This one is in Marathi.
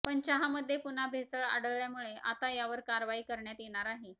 पण चहामध्ये पुन्हा भेसळ आढळल्यामुळे आता यावर कारवाई करण्यात येणार आहे